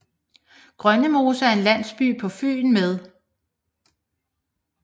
Grønnemose er en landsby på Fyn med